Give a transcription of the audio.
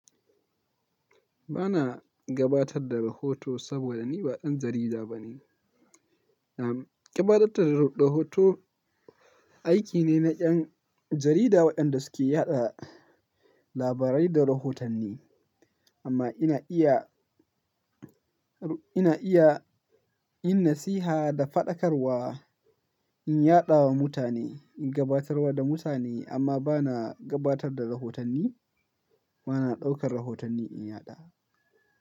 Ba na gabatar da rahoto saboda ni ba ɗan jarida ba ne. Am, gabaɗatar da rahoto aiki ne na 'yan jarida waɗanda suke yaɗa labarai da rahotanni. Amma ina iya, ina iya yin nasiha da faɗakarwa, in yaɗawa mutane, in gabatarwa da mutane amma ba na gabatar da rahotanni. Ba na ɗaukar rahotanni in yaɗa.